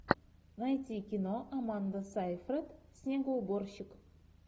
найти кино аманда сайфред снегоуборщик